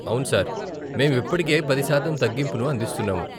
అవును సార్, మేము ఇప్పటికే పది శాతం తగ్గింపును అందిస్తున్నాము.